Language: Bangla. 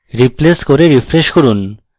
replace করে refresh করুন